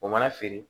O mana feere